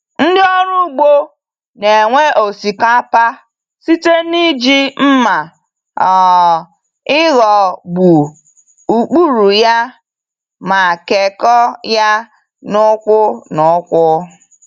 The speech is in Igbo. Ndị ọrụ ugbo n'ewe osikapa site n'iji mma um ịghọ gbuo ụkpụrụ ya ma kekọọ ya n'úkwù n'úkwù.